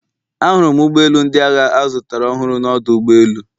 Ahụrụ m ụgbọ elu ndị agha azụtara ọhụrụ na ọdụ ụgbọ elu